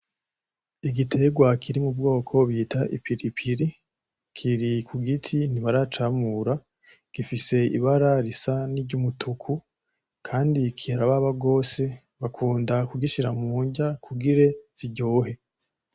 Igitegwa kiri mu bwoko bita i pilipili , kiri ku giti ntibaracamura , gifise ibara risa niry'umutuku kandi kirababa gose, bakunda kugishira munrya kugira ziryohe.